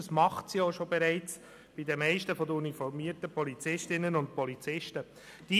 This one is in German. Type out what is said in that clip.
Das tut sie bei den meisten uniformierten Polizistinnen und Polizisten auch bereits.